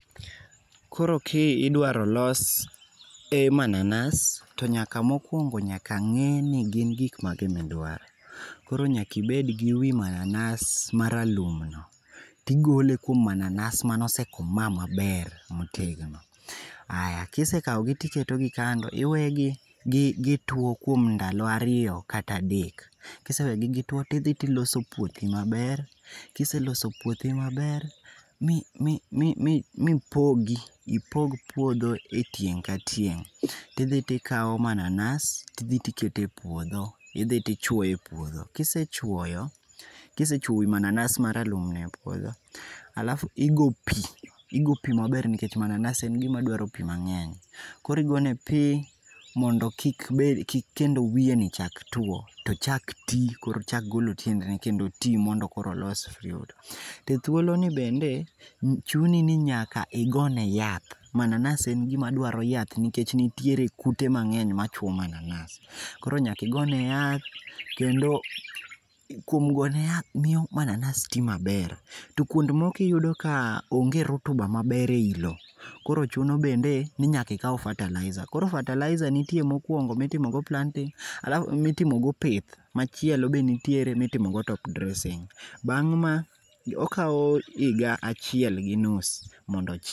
Koro kidwaro ni olos manansa to nyaka mokuongo nyaka ngeni gin gik mage midwaro. Koro nyaka ibed gi wii mananas ma ralum tigole kuom mananas mane osekoma maber motegno. Aya kisekawgi tiketo gi kando iwegi gtuo kuom ndlo ariyo kata adek, Kisewegi gituo tidhi tiloso puothi maber, kiseloso puothi maber mipogi, ipog puodho e tieng ka tieng tidhi tikao mananas tidhi tikete puodho, idhi tichuoyo e puodho. Kisechuoyo, kisechuoyo wii mananas maralum no e puodho halaf igo pii, igo pii maber nikech mananas en gima dwa pii mangeny. Koro igone pii mondo kik bende, kik wiye ni ochak tuo tochak tii kendo ochak golo tiendeni kendo otii mondo koro olos fruit. To e thuoloni bende chuni ni nyaka ign e yath, mananas en gima dwaro yath nikech nitie kute mangeny machuo mananas. Koro nyaka igone yath kendo kuom gone yath miyo mananas ti maber. To kuond moko iyudo ka onge rotuba maber e loo koro chuno bende ni ikao fertilizer. Koro fertilizer nitie mokuongo mitimo go planting halafu mitimo go pith machielo be nitie mitimo go top dressing, bang ma, kao higa achiel gi nus mondo